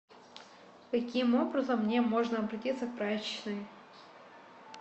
каким образом мне можно обратиться к прачечной